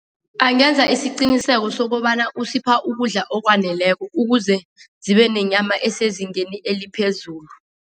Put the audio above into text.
Angenza isiqiniseko sokobana usipha ukudla okwaneleko ukuze zibe nenyama esezingeni eliphezulu.